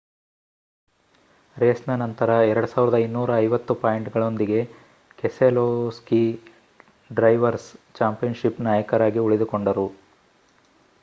ರೇಸ್‌ನ ನಂತರ 2,250 ಪಾಯಿಂಟ್‌ಗಳೊಂದಿಗೆ Keselowski drivers championship ನಾಯಕರಾಗಿ ಉಳಿದುಕೊಂಡರು